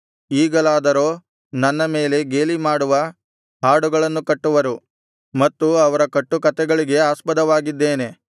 ಈಗಲಾದರೋ ನನ್ನ ಮೇಲೆ ಗೇಲಿಮಾಡುವ ಹಾಡುಗಳನ್ನು ಕಟ್ಟುವರು ಮತ್ತು ಅವರ ಕಟ್ಟುಕಥೆಗಳಿಗೆ ಆಸ್ಪದವಾಗಿದ್ದೇನೆ